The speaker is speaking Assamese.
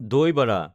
দৈ বাড়া